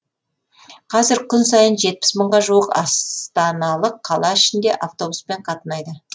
қазір күн сайын жетпіс мыңға жуық астаналық қала ішінде автобуспен қатынайды